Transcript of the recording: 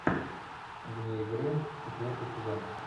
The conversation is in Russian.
вне игры четвертый сезон